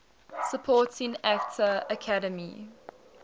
supporting actor academy